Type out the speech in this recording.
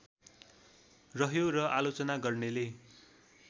रह्यो र आलोचना गर्नेले